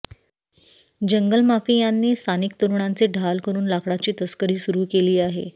जंगलमाफियांनी स्थानिक तरुणांचे ढाल करून लाकडाची तस्करी सुरू केली आहे